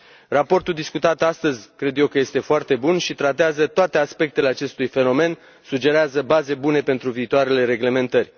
Raportul discutat astăzi, cred eu că este foarte bun și tratează toate aspectele acestui fenomen, sugerează baze bune pentru viitoarele reglementări.